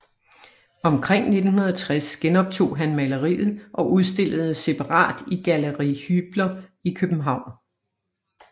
Omkring 1960 genoptog han maleriet og udstillede separat i Galleri Hybler i København